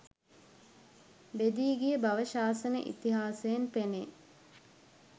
බෙදී ගිය බව ශාසන ඉතිහාසයෙන් පෙනේ.